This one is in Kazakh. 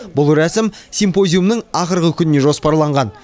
бұл рәсім симпозиумның ақырғы күніне жоспарланған